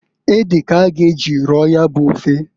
Ede k'a ga eji roo ya bụ ofe.